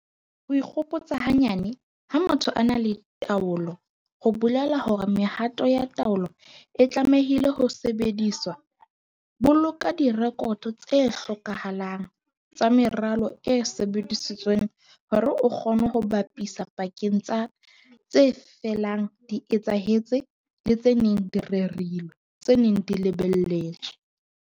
Ho ikgopotsa hanyane, ha motho a na le taolo ho bolela hore mehato ya taolo e tlamehile ho sebediswa - boloka direkoto tse hlokahalang tsa meralo e sebedisitsweng hore o kgone ho bapisa pakeng tsa tse felang di etsahetse le tse neng di rerilwe, tse neng di lebelletswe.